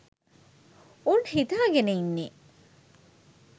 උන් හිතාගෙන ඉන්නේ